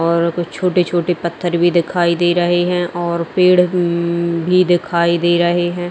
और कुछ छोटे-छोटे पत्थर भी दिखाई दे रहे है और पड़े उम्म भी दिखाई दे रहे है।